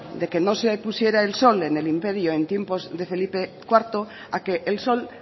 de que no se pusiera el sol en el imperio en tiempo de felipe cuarto a que el sol